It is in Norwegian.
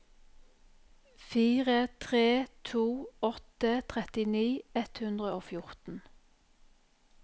fire tre to åtte trettini ett hundre og fjorten